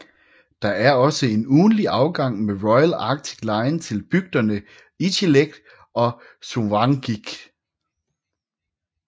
Der er også en ugentlig afgang med Royal Arctic Line til bygderne Itilleq og Sarfannguit